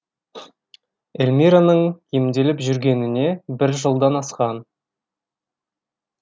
эльмираның емделіп жүргеніне бір жылдан асқан